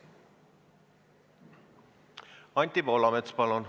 Anti Poolamets, palun!